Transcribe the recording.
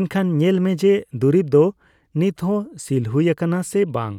ᱮᱱᱠᱷᱟᱱ ᱧᱮᱞ ᱢᱮ ᱡᱮ ᱫᱩᱨᱤᱵ ᱫᱚ ᱱᱤᱛᱦᱚᱸ ᱥᱤᱞ ᱦᱩᱭ ᱟᱠᱟᱟᱱᱟ ᱥᱮ ᱵᱟᱝ ᱾